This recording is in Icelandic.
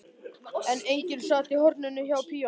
En enginn sat í horninu hjá píanóinu.